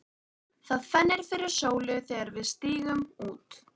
Það fennir fyrir sólu þegar við stígum út.